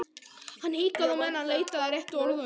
Hann hikaði á meðan hann leitaði að réttu orðunum.